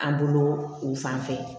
An bolo u fan fɛ